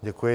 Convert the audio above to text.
Děkuji.